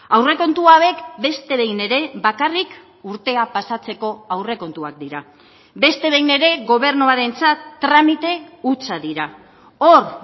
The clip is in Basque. aurrekontu hauek beste behin ere bakarrik urtea pasatzeko aurrekontuak dira beste behin ere gobernuarentzat tramite hutsa dira hor